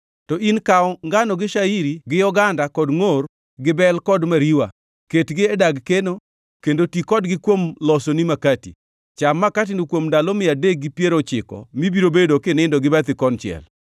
“To in kaw ngano gi shairi gi oganda kod ngʼor gi bel kod mariwa. Ketgi e dag keno kendo ti kodgi kuom losoni makati. Cham makatino kuom ndalo mia adek gi piero ochiko mibiro bedo kinindo gi bathi konchiel.